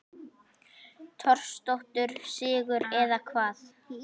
Torsóttur sigur eða hvað?